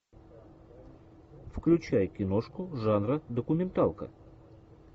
включай киношку жанра документалка